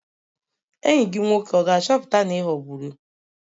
Enyi gị nwoke ọ ga-achọpụta na ị ghọgburu?